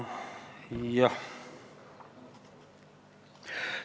Jah!